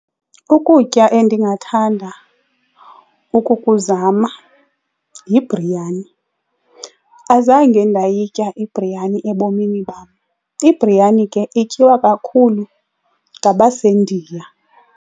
Ukutya endingathanda ukukuzama yibriyani. Azange ndayitya ibriyani ebomini bam. Ibriyani ke ityiwa kakhulu ngabaseNdiya.